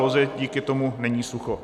Lozi díky tomu není sucho.